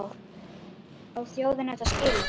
Á þjóðin þetta skilið?